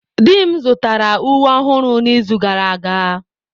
Di m zụtara uwe ọhụrụ n'izu gara aga.